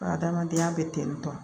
Buna adamadenya bɛ ten tɔ